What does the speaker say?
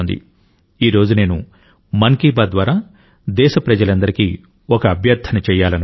ఈ రోజు నేను మన్ కీ బాత్ ద్వారా దేశప్రజలందరికీ ఒక అభ్యర్థన చేయాలనుకుంటున్నాను